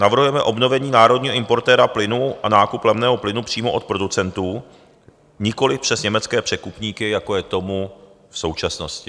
Navrhujeme obnovení národního importéra plynu a nákup levného plynu přímo od producentů, nikoli přes německé překupníky, jako je tomu v současnosti.